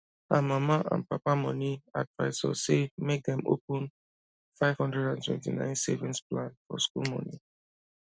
her mama and papa money advisor say make dem open 529 savings plan for school money